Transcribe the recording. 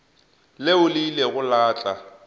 leo le ilego la tla